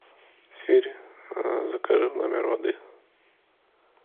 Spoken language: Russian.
сири закажи в номер воды